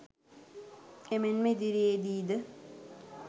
එමෙන්ම ඉදිරියේදී ද